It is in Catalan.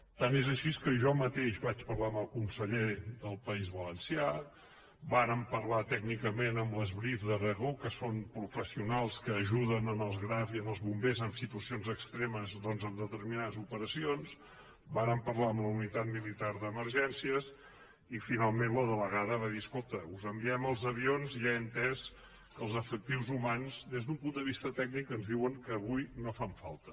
tant és així que jo mateix vaig parlar amb el conseller del país valencià vàrem parlar tècnicament amb les brif d’aragó que són professionals que ajuden els graf i els bombers en situacions extremes en determinades operacions vàrem parlar amb la unitat militar d’emergències i finalment la delegada va dir escolta us enviem els avions i ja he entès que els efectius humans des d’un punt de vista tècnic ens diuen que avui no fan falta